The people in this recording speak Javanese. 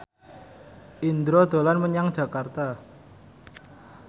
Indro dolan menyang Jakarta